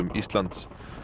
Íslands